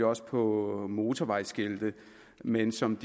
også på motorvejsskilte men som